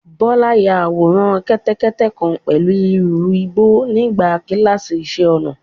Bọ́lá ya àwòrán kẹ́tẹ́kẹ́tẹ́ kan pẹ̀lú ìrù igbó nígbà kíláàsì iṣẹ́-ọnà.